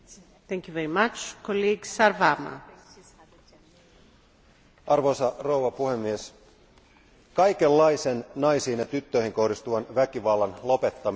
Arvoisa puhemies, kaikenlaisen naisiin ja tyttöihin kohdistuvan väkivallan lopettaminen ja ehkäiseminen on ytimessä oleva asia.